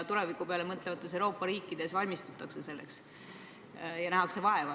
Tuleviku peale mõtlevates Euroopa riikides üldiselt valmistutakse selleks ja nähakse vaeva.